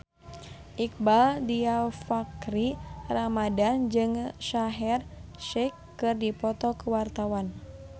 Iqbaal Dhiafakhri Ramadhan jeung Shaheer Sheikh keur dipoto ku wartawan